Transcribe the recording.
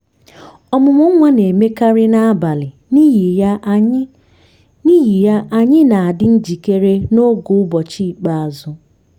ọmụmụ nwa na-emekarị n'abalị n'ihi ya anyị n'ihi ya anyị na-adi njikere n’oge ụbọchị ikpeazụ.